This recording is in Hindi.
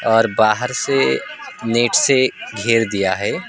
और बाहर से नेट से घेर दिया है।